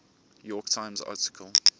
york times article